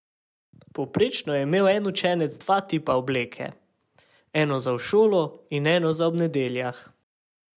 Povprečno je imel en učenec dva tipa obleke, eno za v šolo in eno za ob nedeljah.